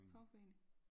Fagforening